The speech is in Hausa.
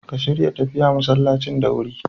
Ka shirya tafiya masallacin da wurin.